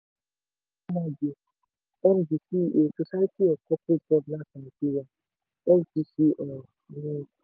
chioma mordi md ceo society for corporate governance nigeria scgn ni.